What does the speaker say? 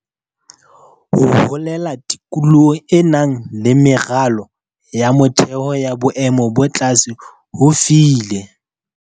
Ho holela tikolohong e nang le meralo ya motheo ya boemo bo tlase ho file.